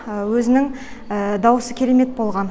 өзінің дауысы керемет болған